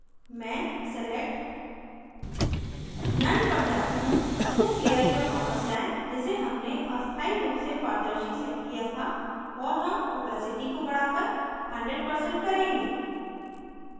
मैं select none none पर जाती हूँ उस layer पर वापस जाएँ जिसे हमने अस्थाई रूप से पारदर्शी set किया था और हम opacity को बढ़ाकर 100% करेंगे